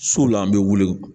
So la an bɛ wuli